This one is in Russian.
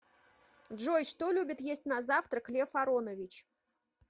джой что любит есть на завтрак лев аронович